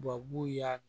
Babu y'a